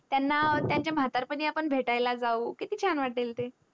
त्यांना त्याच्या म्हातारपणी भेटायला जावू किती चान वाटेल ते